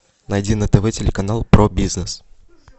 найди на тв телеканал про бизнес